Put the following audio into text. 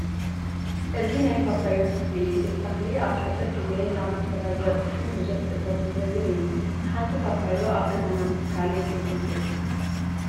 እዚ ናይ ፓፓዮ ተክሊ እዩ፡፡ እዚ ተኽሊ ኣብ ሓፂር ግዜ ናብ ፍረ ዝበፅሕን ብዙሕ እቶት ዝህብን እዩ፡፡ ሓንቲ ፓፓዮ ኣብ ገዛና ምትካል የፅግም ድዩ?